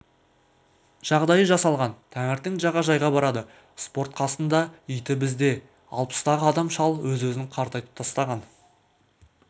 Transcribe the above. жағдайы жасалған таңертең жағажайға барады спорт қасында иті бізде алпыстағы адам шал өз-өзін қартайтып тастаған